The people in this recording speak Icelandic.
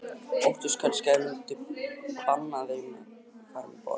Óttuðust kannski að þeir myndu banna þeim að fara um borð.